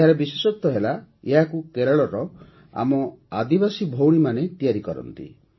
ଏହାର ବିଶେଷତ୍ୱ ହେଲା ଏହାକୁ କେରଳର ଆମ ଆଦିବାସୀ ଭଉଣୀମାନେ ତିଆରି କରନ୍ତି